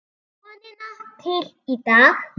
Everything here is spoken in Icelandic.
Vonina til í dag.